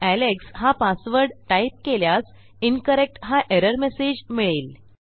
Alex हा password type केल्यास incorrect हा एरर मेसेज मिळेल